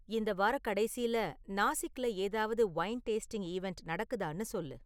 இந்த வாரக்கடைசில நாசிக்ல ஏதாவது வைன் டெஸ்டிங் ஈவண்ட் நடக்குதான்னு சொல்லு